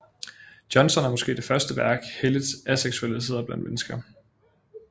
Johnson er måske det første værk helliget aseksualitet blandt mennesker